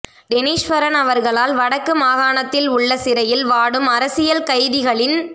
டெனிஸ்வரன் அவர்களால் வடக்கு மாகாணத்தில் உள்ள சிறையில் வாடும் அரசியல் கைதிகளின்